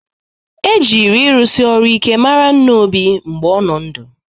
E jịrị ịrụsị ọrụ ike mara nna Obi mgbe ọ nọ ndụ